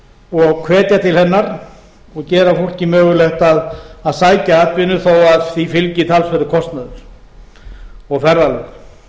og hvetja til hennar og gera fólki mögulegt að sækja atvinnu þó því fylgi talsverður kostnaður og ferðalög